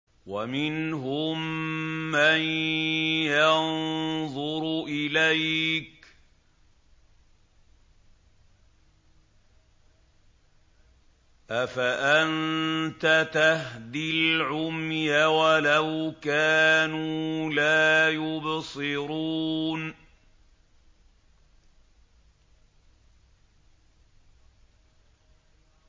وَمِنْهُم مَّن يَنظُرُ إِلَيْكَ ۚ أَفَأَنتَ تَهْدِي الْعُمْيَ وَلَوْ كَانُوا لَا يُبْصِرُونَ